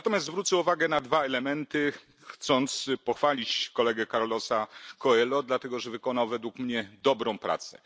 Natomiast zwrócę uwagę na dwa elementy, chcąc pochwalić kolegę Carlosa Coelho, dlatego że wykonał, według mnie, dobrą pracę.